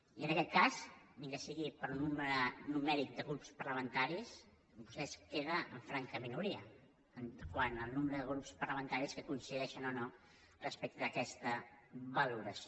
i en aquest cas ni que sigui per al nombre numèric de grups parlamentaris vostè es queda en franca minoria quant al nombre de grups parlamentaris que coincideixen o no respecte d’aquesta valoració